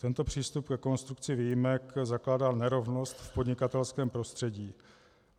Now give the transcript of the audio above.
Tento přístup ke konstrukci výjimek zakládá nerovnost v podnikatelském prostředí.